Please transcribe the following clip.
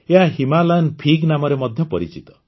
ଏହା Himalayan fig ନାମରେ ମଧ୍ୟ ପରିଚିତ